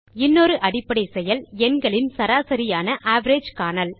இன்னொரு அடிப்படை செயல் எண்களின் சராசரியான அவரேஜ் காணல்